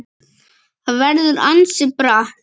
Það verður ansi bratt.